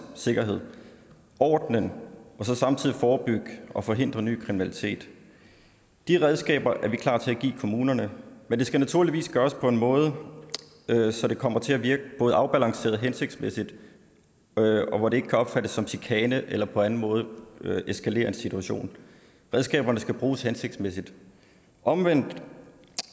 sikkerhed ordenen og så samtidig forebygge og forhindre ny kriminalitet de redskaber er vi klar til at give kommunerne men det skal naturligvis gøres på en måde så det kommer til at virke både afbalanceret og hensigtsmæssigt og hvor det ikke kan opfattes som chikane eller på anden måde eskalere en situation redskaberne skal bruges hensigtsmæssigt omvendt